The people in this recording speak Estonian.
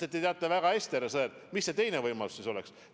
Te teate väga hästi, härra Sõerd, mis see teine võimalus oleks.